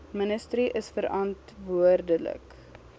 ministerie is verantwoordelik